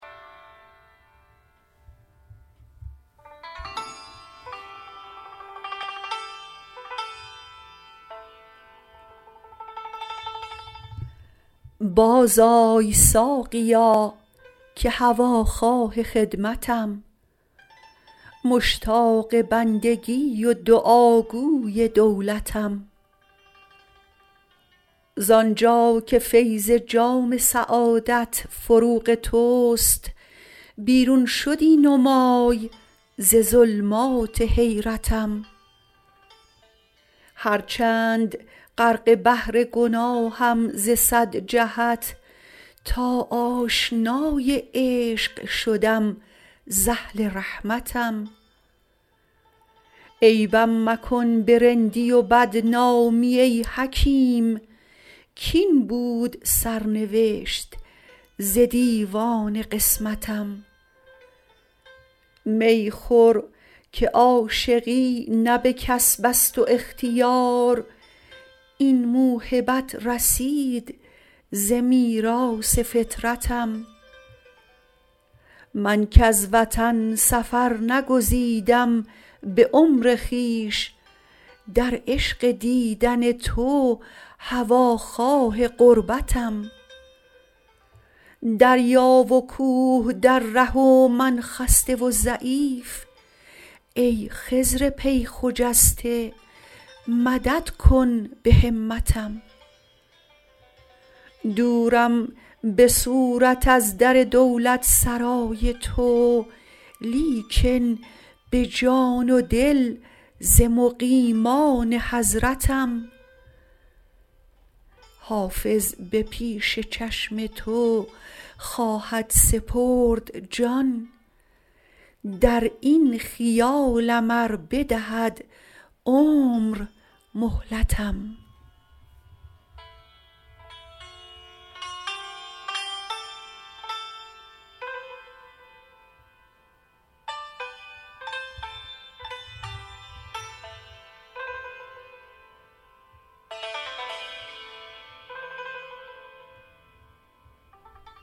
بازآی ساقیا که هواخواه خدمتم مشتاق بندگی و دعاگوی دولتم زان جا که فیض جام سعادت فروغ توست بیرون شدی نمای ز ظلمات حیرتم هرچند غرق بحر گناهم ز صد جهت تا آشنای عشق شدم ز اهل رحمتم عیبم مکن به رندی و بدنامی ای حکیم کاین بود سرنوشت ز دیوان قسمتم می خور که عاشقی نه به کسب است و اختیار این موهبت رسید ز میراث فطرتم من کز وطن سفر نگزیدم به عمر خویش در عشق دیدن تو هواخواه غربتم دریا و کوه در ره و من خسته و ضعیف ای خضر پی خجسته مدد کن به همتم دورم به صورت از در دولتسرای تو لیکن به جان و دل ز مقیمان حضرتم حافظ به پیش چشم تو خواهد سپرد جان در این خیالم ار بدهد عمر مهلتم